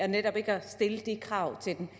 netop ikke at stille de krav til dem